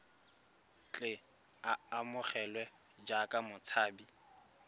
tle a amogelwe jaaka motshabi